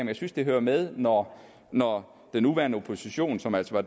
jeg synes det hører med når når den nuværende opposition som altså